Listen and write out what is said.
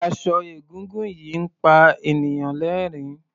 Aṣọ egúngún yìí ń pa ènìyàn lẹ́rìn-ín.